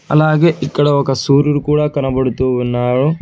అలాగే ఇక్కడ ఒక సూర్యుడు కూడా కనపడుతూ ఉన్నాడు.